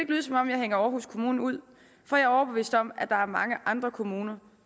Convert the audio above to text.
lyde som om jeg hænger aarhus kommune ud for jeg overbevist om at der er mange andre kommuner